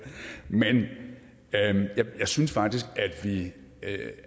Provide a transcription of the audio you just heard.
men jeg synes faktisk